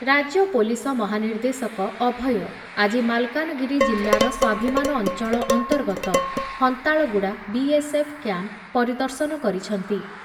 ରାଜ୍ୟ ପୋଲିସ ମହାନିର୍ଦ୍ଦେଶକ ଅଭୟ ଆଜି ମାଲକାନଗିରି ଜିଲ୍ଲାର ସ୍ଵାଭିମାନ ଅଂଚଳ ଅନ୍ତର୍ଗତ Hantalguda B S F camp ପରିଦର୍ଶନ କରିଛନ୍ତି।